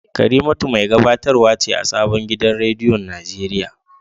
Karimatu mai gabatarwa ce a sabon gidan rediyon Najeriya